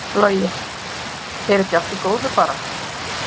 Logi: Er ekki allt í góðu bara?